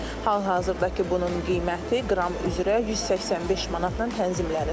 Hal-hazırda ki, bunun qiyməti qram üzrə 185 manatla tənzimlənir.